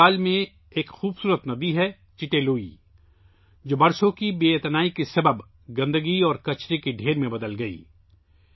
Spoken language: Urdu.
آئیزول میں ایک خوبصورت ندی 'چٹے لوئی' ہے، جو برسوں کی عدم توجہی کے باعث گندگی اور کچرے کے ڈھیر میں تبدیل ہوگئی